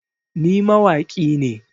Ni mawaƙi ne